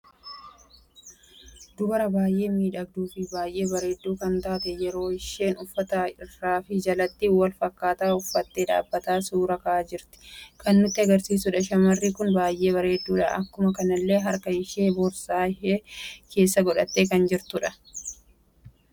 Dubara baay'ee miidhagduu fi baay'ee bareeddu kan taatee yeroo isheen uffata irraa fi jalatti wal fakkata uffattee dhabbattee suuraa ka'aa jirtu kan nutti agarsiisuudha. Shamarri kun baay'ee kan bareeddudha. Akkuma kanallee harkaa ishee boorsaa ishee keessa godhatte kan jirtudha.